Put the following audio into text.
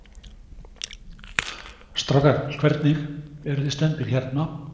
Strákar, hvernig, eruð þið stemmdir hérna?